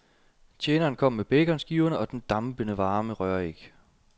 Tjeneren kom med baconskiverne og den dampende varme røræg.